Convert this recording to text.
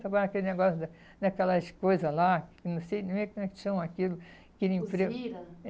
Trabalha naquele negócio, naquelas coisas lá, que não sei nem como é que chama aquilo, aquele emprego... Usina?